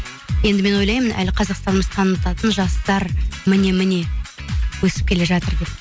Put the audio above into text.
енді мен ойлаймын әлі қазақстанымызды танытатын жастар міне міне өсіп келе жатыр деп